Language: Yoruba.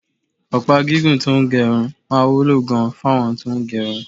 Ọ̀pá gígùn tó ń gé irun máa wúlò gan-an fáwọn tó ń gẹrun